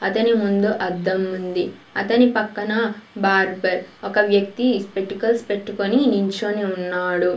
అతని ముందు అద్దం ఉంది అతని పక్కన బార్బర్ ఒక వ్వక్తి స్పెటికల్స్ పెట్టుకొని నించోని ఉన్నాడు.